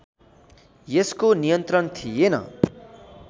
यसको नियन्त्रण थिएन